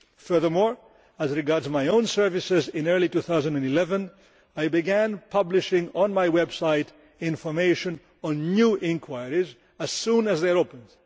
Furthermore, as regards my own services, in early 2011 I began publishing, on my website, information on new inquiries as soon as they are opened.